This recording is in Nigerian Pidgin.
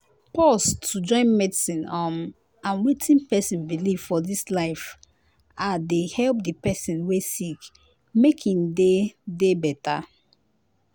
pause to join medicine um and wetin pesin believe for dis life ah dey help di pesin wey sick make em dey dey better.